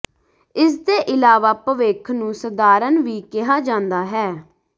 ਇਸਦੇ ਇਲਾਵਾ ਭਵਿੱਖ ਨੂੰ ਸਧਾਰਨ ਵੀ ਕਿਹਾ ਜਾਂਦਾ ਹੈ